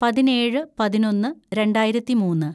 പതിനേഴ് പതിനൊന്ന് രണ്ടായിരത്തിമൂന്ന്‌